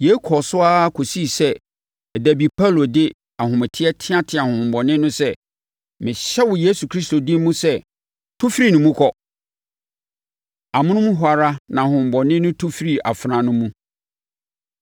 Yei kɔɔ so ara kɔsii sɛ da bi Paulo de ahometeɛ teateaa honhommɔne no sɛ, “Mehyɛ wo Yesu Kristo din mu sɛ, tu firi ne mu kɔ!” Amonom hɔ ara, na honhommɔne no tu firii afenaa no mu.